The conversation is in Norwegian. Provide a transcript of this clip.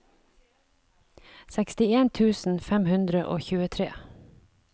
sekstien tusen fem hundre og tjuetre